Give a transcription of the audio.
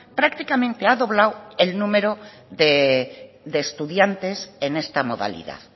prácticamente ha doblado el número de estudiantes en esta modalidad